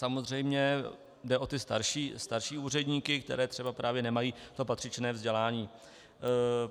Samozřejmě jde o ty starší úředníky, kteří třeba právě nemají to patřičné vzdělání.